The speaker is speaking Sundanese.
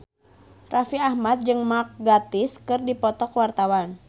Raffi Ahmad jeung Mark Gatiss keur dipoto ku wartawan